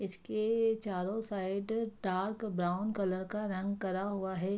इसके चारो side dark brown colour का रंग करा हुआ है।